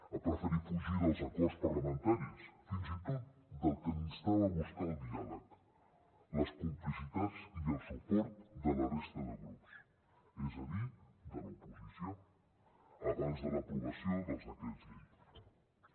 ha preferit fugir dels acords parlamentaris fins i tot del que l’instava a buscar el diàleg les complicitats i el suport de la resta de grups és a dir de l’oposició abans de l’aprovació dels decrets llei